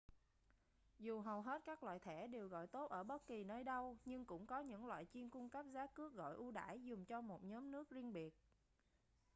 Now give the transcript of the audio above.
dù hầu hết các loại thẻ đều gọi tốt ở bất kì nơi đâu nhưng cũng có những loại chuyên cung cấp giá cước gọi ưu đãi dùng cho một nhóm nước riêng biệt